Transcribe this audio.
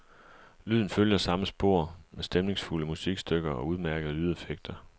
Lyden følger samme spor, med stemningsfulde musikstykker og udmærkede lydeffekter.